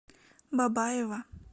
бабаево